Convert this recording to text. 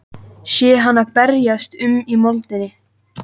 Sé hana berjast um í moldinni.